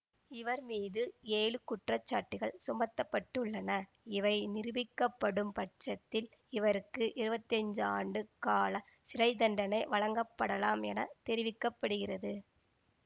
இவர் மீது ஏழு குற்றச்சாட்டுகள் சுமத்தப்பட்டுள்ளன இவை நிரூபிக்கப்படும் பட்சத்தில் இவருக்கு இருவத்தி அஞ்சுஆண்டு கால சிறை தண்டனை வழங்கப்படலாம் என தெரிவிக்க படுகிறது